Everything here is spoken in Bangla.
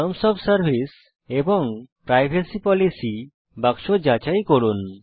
টার্মস ওএফ সার্ভিস এবং প্রাইভেসি পলিসি বাক্স যাচাই করুন